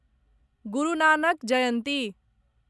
गुरु Nanak जयन्ती